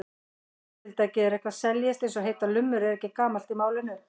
Orðatiltækið að eitthvað seljist eins og heitar lummur er ekki gamalt í málinu.